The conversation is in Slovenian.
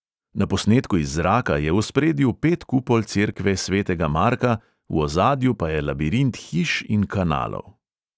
Na posnetku iz zraka je v ospredju pet kupol cerkve svetega marka, v ozadju pa je labirint hiš in kanalov.